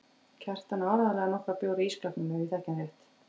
Kjartan á áreiðanlega nokkra bjóra í ísskápnum ef ég þekki hann rétt.